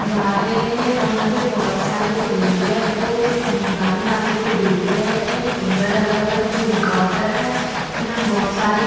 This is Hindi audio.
गा रहे है और यहाँ पे बहोत सारे जो लोग है वो गाने वाले को देख रहे है केमरा लगा हुआ है जो रेकोर्ड कर रहा है और यहाँ बहोत सारे--